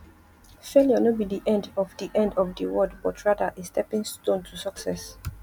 failure no be di end of di end of di world but rather a stepping stone to success